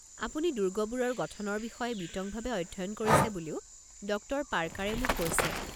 আপুনি দুৰ্গবোৰৰ গঠনৰ বিষয়ে বিতংভাৱে অধ্যয়ন কৰিছে বুলিও ডক্টৰ পাৰ্কাৰে মোক কৈছে।